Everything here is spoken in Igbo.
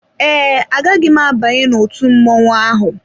Ee, agaghị m abanye n'otú mmọnwụ ahụ.